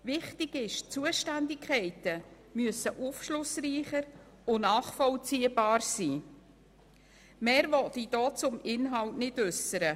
Wichtig ist, dass die Zuständigkeiten aufschlussreicher und nachvollziehbarer sein müssen.